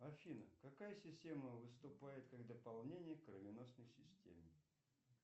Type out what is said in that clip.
афина какая система выступает как дополнение к кровеносной системе